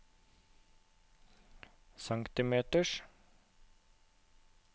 centimeters